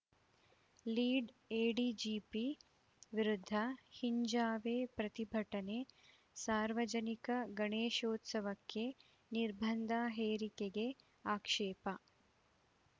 lead ADGP ವಿರುದ್ಧ ಹಿಂಜಾವೇ ಪ್ರತಿಭಟನೆ ಸಾರ್ವಜನಿಕ ಗಣೇಶೋತ್ಸವಕ್ಕೆ ನಿರ್ಬಂಧ ಹೇರಿಕೆಗೆ ಆಕ್ಷೇಪ